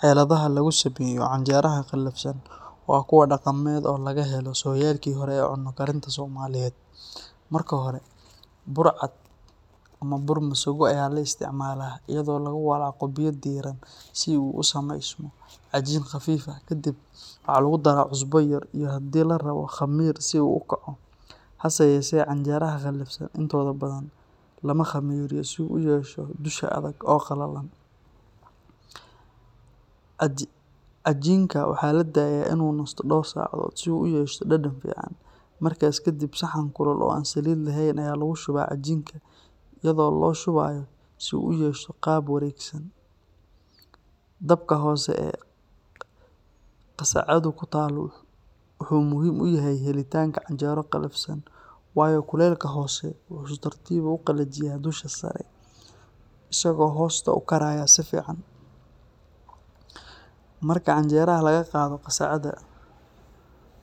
Xeladaha lagu sameeyo canjeraha qalafsan waa kuwo dhaqameed oo laga helo sooyaalkii hore ee cunno karinta Soomaaliyeed. Marka hore, bur cad ama bur masago ayaa la isticmaalaa iyadoo lagu walaaqo biyo diiran si uu u samaysmo cajiin khafiif ah. Kadib, waxaa lagu daraa cusbo yar iyo haddii la rabo khamiir si uu u kaco, hase yeeshee canjeraha qalafsan intooda badan lama khamiiriyo si uu u yeesho dusha adag oo qalalan. Cajiinka waxaa la daayaa in uu nasto dhowr saacadood si uu u yeesho dhadhan fiican. Markaas kadib, saxan kulul oo aan saliid lahayn ayaa lagu shubaa cajiinka iyadoo loo shubayo si uu u yeesho qaab wareegsan. Dabka hoose ee qasacaddu ku taal wuxuu muhiim u yahay helitaanka canjero qalafsan, waayo kulaylka hoose wuxuu si tartiib ah u qalajiyaa dusha sare isagoo hoosta u karaya si fiican. Marka canjeraha laga qaado qasacadda,